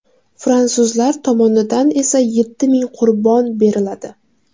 Fransuzlar tomonidan esa yetti ming qurbon beriladi.